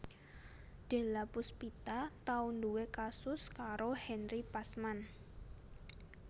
Della Puspita tau nduwé kasus karo Henry Pasman